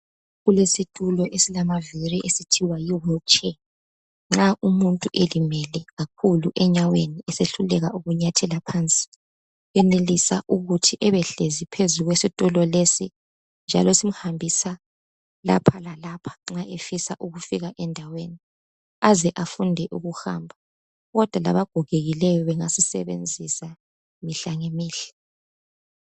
Kulesitulo esilamavili esithiwa yihulu tshe nxa umuntu elimele kakhulu enyaweni esehluleka ukunyathela phansi. Uyenelisa ukuthi ebe hlezi phezulu kwesitulo lesi njalo simhambisa lapha lalapha nxa efisa ukufika endaweni aze afunde ukuhamba. Kodwa labagogekileyo bengasisebenzisa mihlangemihla.